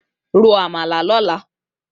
Ró ámàlá lòlá